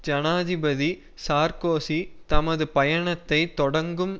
ஜனாதிபதி சார்கோசி தமது பயணத்தை தொடங்கும்